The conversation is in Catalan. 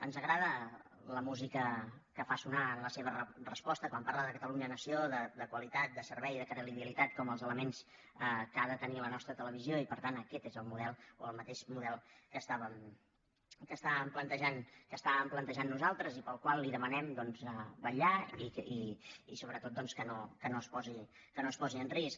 ens agrada la música que fa sonar en la seva resposta quan parla de catalunya nació de qualitat de servei i de credibilitat com els elements que ha de tenir la nostra televisió i per tant aquest és el model o el mateix model que estàvem plantejant nosaltres i pel qual li demanem doncs vetllar i sobretot que no es posi en risc